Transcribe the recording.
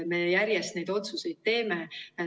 Me järjest neid otsuseid teeme.